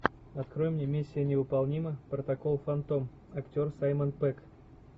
открой мне миссия невыполнима протокол фантом актер саймон пегг